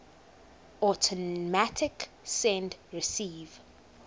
automatic send receive